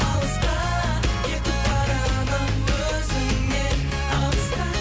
алысқа кетіп барамын өзіңнен алысқа